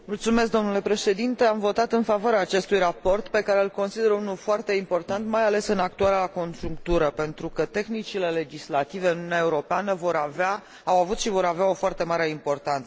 Am votat în favoarea acestui raport, pe care îl consider unul foarte important, mai ales în actuala conjunctură, pentru că tehnicile legislative în Uniunea Europeană au avut și vor avea o foarte mare importanță.